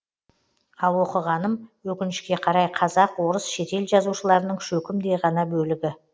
ал оқығаным өкінішке қарай қазақ орыс шетел жазушыларының шөкімдей ғана бөлігі